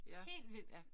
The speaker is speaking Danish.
Helt vildt!